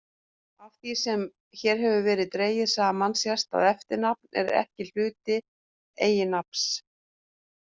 Af því sem hér hefur verið dregið saman sést að eftirnafn er ekki hluti eiginnafns.